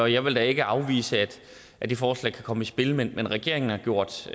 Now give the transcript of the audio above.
jeg vil da ikke afvise at det forslag kan komme i spil men regeringen har gjort